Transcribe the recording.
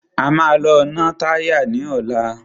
A máa lọ ná táyà ní ọ̀la.